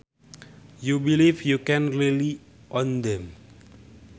You believe you can rely on them